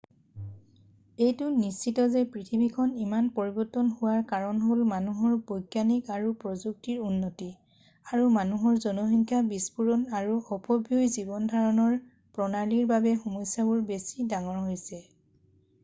এইটো নিশ্চিত যে পৃথিৱীখন ইমান পৰিৱৰ্তন হোৱাৰ কাৰণ হ'ল মানুহৰ বৈজ্ঞানিক আৰু প্ৰযুক্তিৰ উন্নতি আৰু মানুহৰ জনসংখ্যা বিস্ফোৰণ আৰু অপব্যয়ী জীৱন ধাৰণৰ প্ৰণালীৰ বাবে সমস্যাবোৰ বেছি ডাঙৰ হৈছে